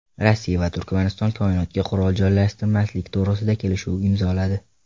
Rossiya va Turkmaniston koinotga qurol joylashtirmaslik to‘g‘risida kelishuv imzoladi.